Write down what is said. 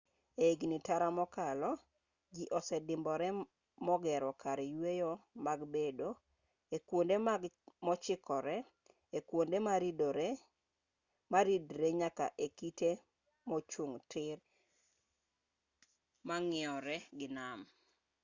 ehigni tara mokalo jii osedimbore mogero kar yueyo mag bedo ekuonde mochikree ekuonde maridree nyaka ekite mochung' tir mang'iyore gi nam